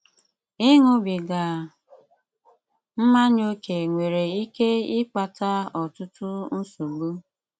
Ị́ṅúbígá mmányá ókè nwéré íké ị́kpátá ọ́tụ́tù nsògbu.